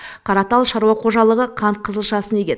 қаратал шаруа қожалығы қант қызылшасын егеді